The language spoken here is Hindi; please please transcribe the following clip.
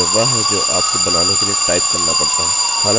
अब जब मैं पहले कमांड लाइन की बात कर रहा था यह वह है जो आपको बनाने के लिए टाइप करना पड़ता